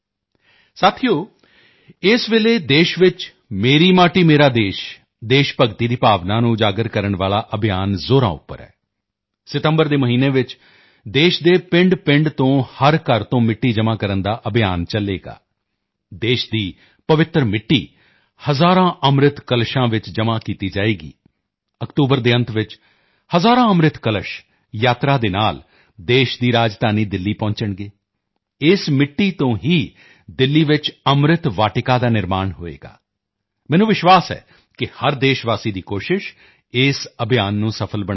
ਸਾਥੀਓ ਇਸ ਵੇਲੇ ਦੇਸ਼ ਵਿੱਚ ਮੇਰੀ ਮਾਟੀ ਮੇਰਾ ਦੇਸ਼ ਦੇਸ਼ ਭਗਤੀ ਦੀ ਭਾਵਨਾ ਨੂੰ ਉਜਾਗਰ ਕਰਨ ਵਾਲਾ ਅਭਿਯਾਨ ਜ਼ੋਰਾਂ ਉੱਪਰ ਹੈ ਸਤੰਬਰ ਦੇ ਮਹੀਨੇ ਵਿੱਚ ਦੇਸ਼ ਦੇ ਪਿੰਡਪਿੰਡ ਤੋਂ ਹਰ ਘਰ ਤੋਂ ਮਿੱਟੀ ਜਮ੍ਹਾਂ ਕਰਨ ਦਾ ਅਭਿਯਾਨ ਚਲੇਗਾ ਦੇਸ਼ ਦੀ ਪਵਿੱਤਰ ਮਿੱਟੀ ਹਜ਼ਾਰਾਂ ਅੰਮ੍ਰਿਤ ਕਲਸ਼ਾਂ ਵਿੱਚ ਜਮ੍ਹਾਂ ਕੀਤੀ ਜਾਵੇਗੀ ਅਕਤੂਬਰ ਦੇ ਅੰਤ ਵਿੱਚ ਹਜ਼ਾਰਾਂ ਅੰਮ੍ਰਿਤ ਕਲਸ਼ ਯਾਤਰਾ ਦੇ ਨਾਲ ਦੇਸ਼ ਦੀ ਰਾਜਧਾਨੀ ਦਿੱਲੀ ਪਹੁੰਚਣਗੇ ਇਸ ਮਿੱਟੀ ਤੋਂ ਹੀ ਦਿੱਲੀ ਵਿੱਚ ਅੰਮ੍ਰਿਤ ਵਾਟਿਕਾ ਦਾ ਨਿਰਮਾਣ ਹੋਵੇਗਾ ਮੈਨੂੰ ਵਿਸ਼ਵਾਸ ਹੈ ਕਿ ਹਰ ਦੇਸ਼ਵਾਸੀ ਦੀ ਕੋਸ਼ਿਸ਼ ਇਸ ਅਭਿਯਾਨ ਨੂੰ ਸਫ਼ਲ ਬਣਾਵੇਗੀ